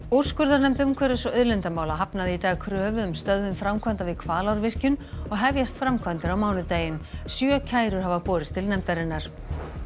úrskurðarnefnd umhverfis og auðlindamála hafnaði í dag kröfu um stöðvun framkvæmda við Hvalárvirkjun og hefjast framkvæmdir á mánudaginn sjö kærur hafa borist til nefndarinnar